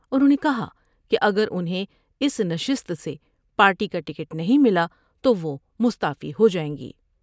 انہوں نے کہا کہ اگر انہیں اس نشست سے پارٹی کا ٹکٹ نہیں ملا تو وہ مستعفی ہو جائیں گی ۔